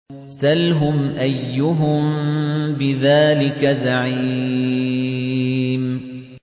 سَلْهُمْ أَيُّهُم بِذَٰلِكَ زَعِيمٌ